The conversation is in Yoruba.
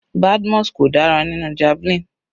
Badmus kò dára nínú javelin.